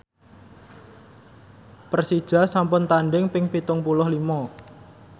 Persija sampun tandhing ping pitung puluh lima